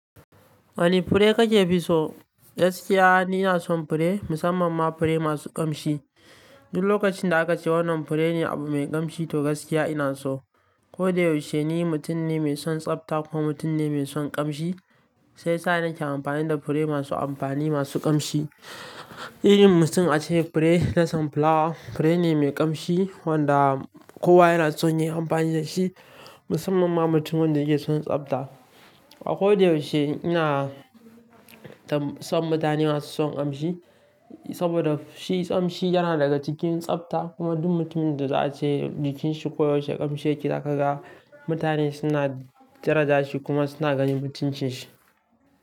Wani fure kake fi so? Gaskiya ina son fure, musamman ma fure masu kamshi. Duk lokacin da aka ce wannan fure ne abu mai kamshi to gaskiya ina so. Ko da yaushe ni mutum ne mai son tsafta kuma mutum ne mai son kamshi. Sai yasa ni ke amfani da fure masu amfani, masu kamshi. Irin mutum ace fure na son fulawa, fure ne mai kamshi wanda kowa yana son yin amfani da shi musamman ma mutumin da yake son tsafta. A ko da yaushe ina tam son mutane masu son kamshi, saboda shi kamshi yana daga cikin tsafta kuma duk mutumin da za a ce jikin shi ko yaushe kamshi yake zaka ga mutane suna dara ja shi kuma suna ganin mutunci shi.